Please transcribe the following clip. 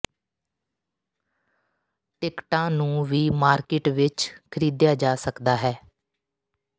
ਟਿਕਟਾਂ ਨੂੰ ਵੀ ਮਾਰਕੀਟ ਵਿਚ ਖਰੀਦਿਆ ਜਾ ਸਕਦਾ ਹੈ